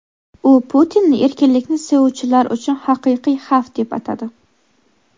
u Putinni erkinlikni sevuvchilar uchun haqiqiy xavf deb atadi.